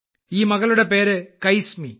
ഈ മകളുടെ പേര് കൈസ്മി